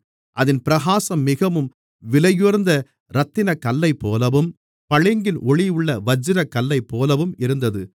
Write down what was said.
அதின் பிரகாசம் மிகவும் விலையுயர்ந்த இரத்தினக்கல்லைப்போலவும் பளிங்கின் ஒளியுள்ள வச்சிரக்கல்லைப்போலவும் இருந்தது